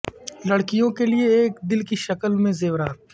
لڑکیوں کے لئے ایک دل کی شکل میں زیورات